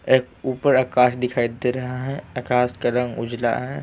एक ऊपर आकाश दिखाई दे रहा है आकाश का रंग उजला है।